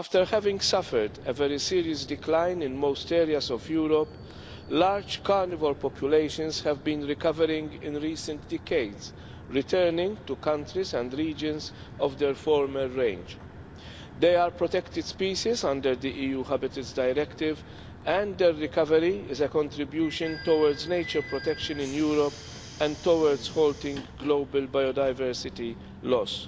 Having suffered a very serious decline in most areas of Europe, large carnivore populations have been recovering in recent decades, and returning to countries and regions of their former range. They are protected species under the EU Habitats Directive and their recovery is a contribution towards nature protection in Europe and towards halting global biodiversity loss.